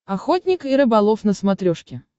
охотник и рыболов на смотрешке